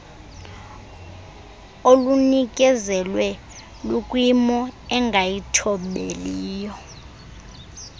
olunikezelwe lukwimo engayithobeliyo